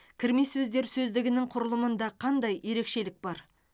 кірме сөздер сөздігінің құрылымында қандай ерекшелік бар